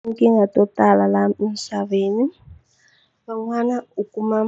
Tinkingha to tala laha emisaveni van'wanyana u kuma